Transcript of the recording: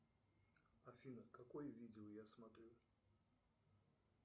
афина какое видео я смотрю